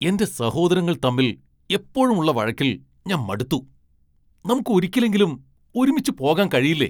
എന്റെ സഹോദരങ്ങൾ തമ്മിൽ എപ്പോഴും ഉള്ള വഴക്കിൽ ഞാൻ മടുത്തു. നമുക്ക് ഒരിക്കലെങ്കിലും ഒരുമിച്ച് പോകാൻ കഴിയില്ലേ ?